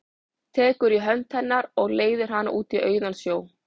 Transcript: Tekur í hönd hennar og leiðir hana út á auðan sjó.